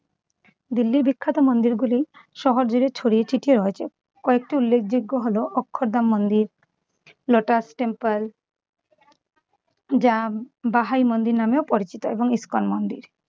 দিল্লির বিখ্যাত মন্দির গুলি শহর জুড়ে ছড়িয়ে ছিটিয়ে রয়েছে, কয়েকটি উল্লেখযোগ্য হল অক্ষদা মন্দির, লোটাস টেম্পল, জাম বাহাই মন্দির নামেও পরিচিত এবং ইসকন মন্দির ‌।